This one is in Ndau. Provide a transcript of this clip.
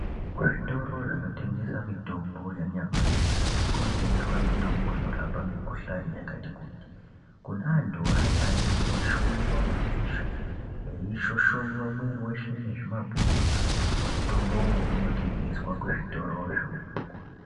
Kuzvitoro zvinotengesa mitombo yanyamashi kunotengeswa mitombo inorapa mikuhlani yakati kuti. Kune antu aya anenge eishwinywa madziso veishoshonywa mwiri veshe nezvimapundu mutombovo unotengeswa kuzvitorozvo.